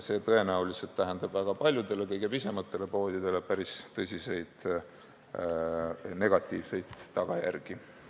See tähendab tõenäoliselt aga väga paljudele kõige pisematele poodidele päris tõsiseid negatiivseid tagajärgi.